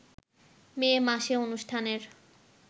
মে মাসে অনুষ্ঠানের